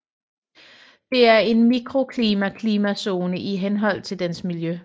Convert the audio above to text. Det er en mikroklima klimazone i henhold til dens miljø